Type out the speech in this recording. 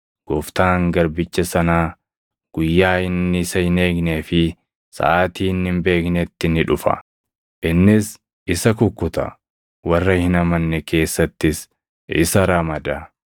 gooftaan garbicha sanaa guyyaa inni isa hin eegnee fi saʼaatii inni hin beeknetti ni dhufa. Innis isa kukkuta; warra hin amanne keessattis isa ramada.